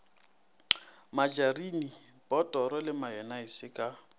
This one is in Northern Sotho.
matšarine botoro le mayonnaise ka